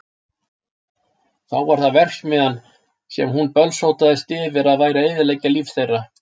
Þá var það verksmiðjan sem hún bölsótaðist yfir að væri að eyðileggja líf þeirra.